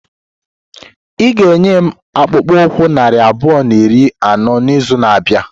Ị ga-enye m akpụkpọ ụkwụ narị abụọ na iri anọ n'izu na-abịa?